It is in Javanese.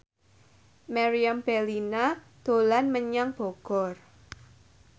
Meriam Bellina dolan menyang Bogor